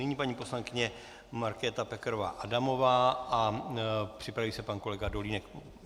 Nyní paní poslankyně Markéta Pekarová Adamová a připraví se pan kolega Dolínek.